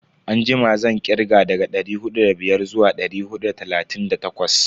Anjima zan kirga daga dari hudu da biyar zuwa dari hudu da talatin da takwas.